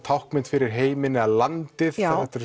táknmynd fyrir heiminn eða landið